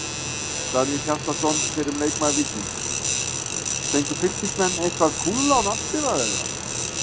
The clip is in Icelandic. Daníel Hjaltason, fyrrum leikmaður Víkings: fengu fylkismenn eitthvað kúlulán afskrifað eða?